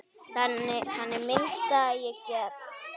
Þannig minnist ég Gests.